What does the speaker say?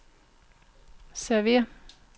server